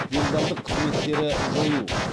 делдалдық қызметтері жою